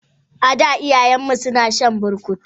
Ada iyayenmu suna shan burkutu.